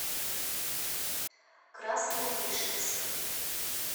красновишерск